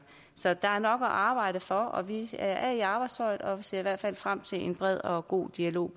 så der er nok at arbejde for og vi er i arbejdstøjet og ser i hvert fald frem til en bred og god dialog